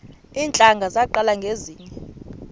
iintlanga zaqala ngezinje